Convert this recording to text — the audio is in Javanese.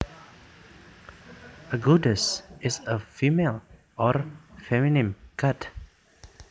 A goddess is a female or feminine god